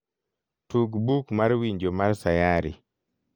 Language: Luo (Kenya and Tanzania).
tug buk mar winjo mar sayari